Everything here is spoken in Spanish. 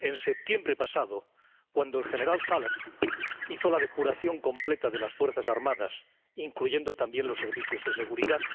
En septiembre pasado, cuando el general Salah hizo la depuración completa de las Fuerzas Armadas, incluyendo también los servicios de seguridad.